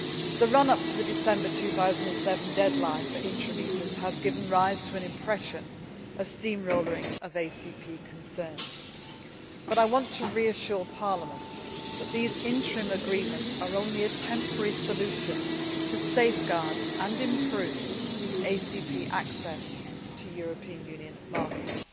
The run up to the December 2007 deadline for interim EPAs has given rise to an impression of steam rollering ACP concerns, but I want to reassure Parliament that these interim agreements are only a temporary solution to safeguard and improve ACP access to European Union markets.